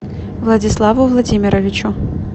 владиславу владимировичу